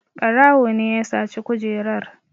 Ɓarawo ne ya saci kujerar.